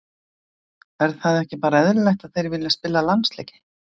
Er það ekki bara eðlilegt að þeir vilji spila landsleiki?